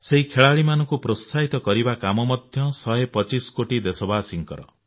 ସେହି ଖେଳାଳିମାନଙ୍କୁ ପ୍ରୋତ୍ସାହିତ କରିବା କାମ ମଧ୍ୟ ଶହେ ପଚିଶ କୋଟି ଦେଶବାସୀଙ୍କର